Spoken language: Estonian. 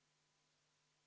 Aitäh, lugupeetud juhataja!